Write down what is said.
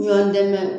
Ɲɔn dɛmɛ